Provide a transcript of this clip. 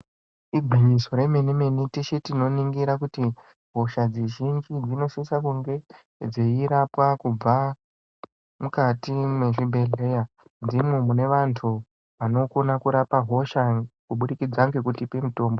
Igwinyiso remene-mene teshe tinoningira kuti hosha dzizhinji dzinosise kunge dzeirapwa kubva mukati mwezvibhedhleya. Ndimo munevantu vanokona kurapa hosha kubudikidza ngekutipa mutombo.